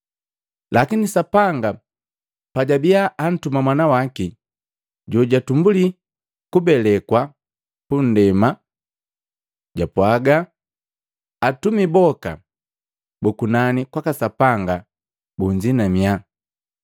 Lakini Sapanga pajabiya antuma Mwana waki, jojutumbuli kubelekwa punndema, japwaga, “Atumi boka bu kunani kwaka Sapanga bunzinamia.”